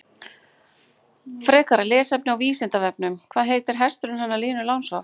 Frekara lesefni á Vísindavefnum: Hvað heitir hesturinn hennar Línu Langsokks?